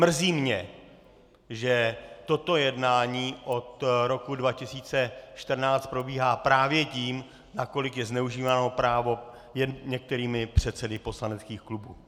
Mrzí mě, že toto jednání od roku 2014 probíhá právě tím, nakolik je zneužíváno právo některými předsedy poslaneckých klubů.